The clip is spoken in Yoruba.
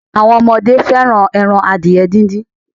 Àwọn ọmọdé fẹ́ràn ẹran adìẹ díndín.